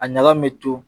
A ɲaga min bɛ to